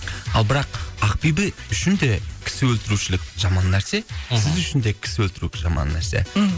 ал бірақ ақбибі үшін де кісі өлтірушілік жаман нәрсе мхм сіз үшін де кісі өлтіру жаман нәрсе мхм